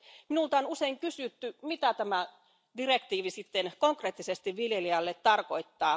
Minulta on usein kysytty, mitä tämä direktiivi sitten konkreettisesti viljelijälle tarkoittaa.